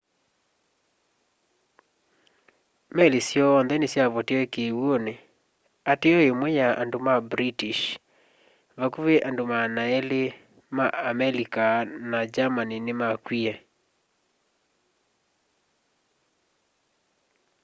meli syoonthe nĩsyavotĩe kĩw'ũnĩ ateo ĩmwe ya ya andũ ma british vakũvĩ andũ 200 ma amelika na german nĩmakw'ĩe